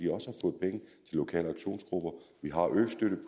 lokale aktionsgrupper vi har østøtten